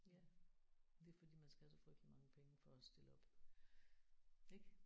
Ja. Det er fordi man skal have så frygteligt mange penge for at stille op ik